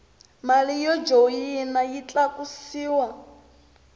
mali yo joyina yi tlakusiwa